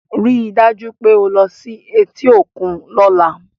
Rí i dájú pé o lo sí i etí òkun lọ́la!